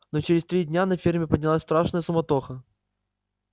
но через три дня на ферме поднялась страшная суматоха